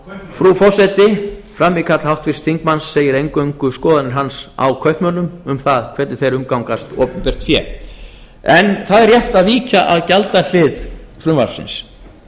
frú forseti frammíkall háttvirtan þingmann segir eingöngu skoðanir hans á kaupmönnum um það hvernig þeir umgangast opinbert fé það er rétt að víkja að gjaldahlið frumvarpsins